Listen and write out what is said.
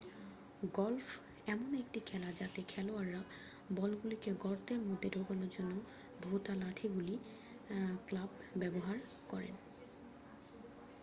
Golf এমন একটি খেলা যাতে খেলোয়াড়েরা বলগুলিকে গর্তের মধ্যে ঢোকানোর জন্য ভোঁতা লাঠিগুলি ক্লাব ব্যবহার করেন।